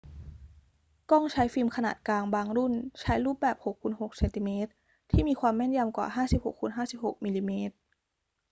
กล้องใช้ฟิล์มขนาดกลางบางรุ่นใช้รูปแบบ 6 x 6 ซม ที่มีความแม่นยำกว่า 56 x 56 มม